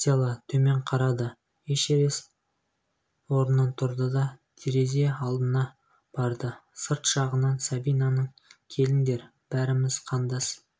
стелла төмен қарады эшерест ронынан тұрды да терезе алдына барды сырт жағынан сабинаның келіңдер бәріміз қандас